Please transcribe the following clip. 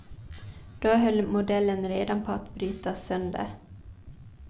Då höll modellen redan på att brytas sönder.